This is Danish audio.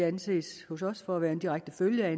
anses for at være en direkte følge af